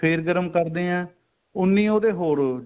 ਫੇਰ ਗਰਮ ਕਰਦੇ ਆ ਉੰਨੀ ਉਹਦੇ ਹੋਰ ਓ